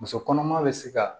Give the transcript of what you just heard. Muso kɔnɔma be se ka